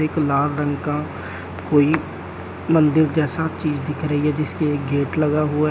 एक लाल रंग का कोई मंदिर जैसा चीज दिख रही है जिसके एक गेट लगा हुआ है।